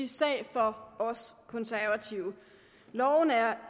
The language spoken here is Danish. sag for os konservative loven er